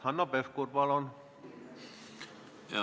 Hanno Pevkur, palun!